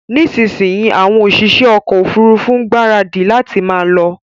Nísinsìnyí àwọn òṣìṣẹ́ ọkọ ofurufu ń gbaradi láti máa lọ